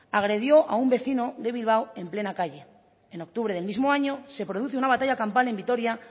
agredió a un vecino de bilbao en plena calle en octubre del mismo año se produce una batalla campal en vitoria